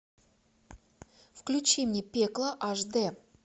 включи мне пекло аш дэ